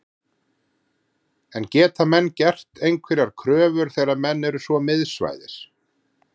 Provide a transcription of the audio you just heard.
En geta menn gert einhverjar kröfur þegar menn eru svo miðsvæðis?